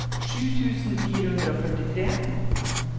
tjue tusen fire hundre og førtitre